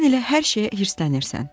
Sən elə hər şeyə hirslənirsən.